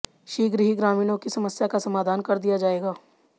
शीघ्र ही ग्रामीणों की समस्या का समाधान कर दिया जाएगा